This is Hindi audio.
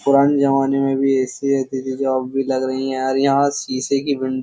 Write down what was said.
पुराने जमाने में भी ऐ.सी. रहते थे जो अब भी लग रही हैं यार यहां शीशे की विंड --